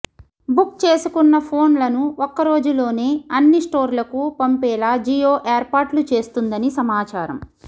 book చేసుకున్న ఫోన్లను ఒక్కరోజులోనే అన్ని స్టోర్లకు పంపేలా జియో ఏర్పాట్లు చేస్తుందని సమాచారం